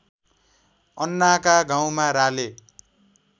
अन्नाका गाउँमा राले